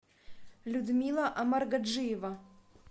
людмила амаргаджиева